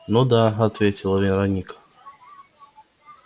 ну да ответила вероника